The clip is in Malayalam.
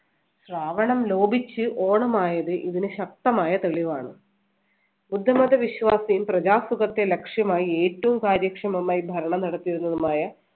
ശ്രാവണം ലോപിച്ച് ഓണമായത് ഇതിന് ശക്തമായ തെളിവാണ്. ബുദ്ധമത വിശ്വാസിയും പ്രജ സുഖത്തെ ലക്ഷ്യമായി ഏറ്റവും കാര്യക്ഷമമായി ഭരണം നടത്തിയിരുന്നതുമായ